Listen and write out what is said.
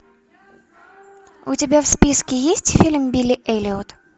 у тебя в списке есть фильм билли эллиот